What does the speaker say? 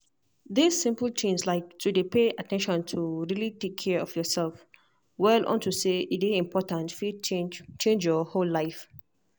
this simple tins like to dey pay at ten tion to really take care of yourself well unto say e dey important fit change change your whole life